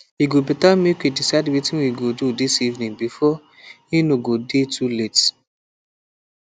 e go better make we decide wetin we go do this evening before e no go dey too late